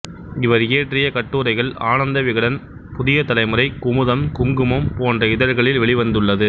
இவர் இயற்றிய கட்டுரைகள் ஆனந்தவிகடன் புதியதலைமுறை குமுதம் குங்குமம் போன்ற இதழ்களில் வெளிவந்துள்ளது